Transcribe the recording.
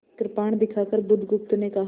कृपाण दिखाकर बुधगुप्त ने कहा